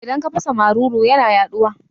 Idan ka fasa maruru yana yaɗuwa